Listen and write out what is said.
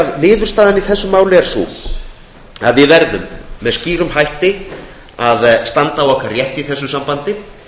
niðurstaðan í þessu máli er sú að við verðum með skýrum hætti að standa á rétti okkar í þessu sambandi